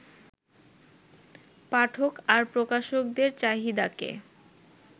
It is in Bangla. পাঠক আর প্রকাশকদের চাহিদাকে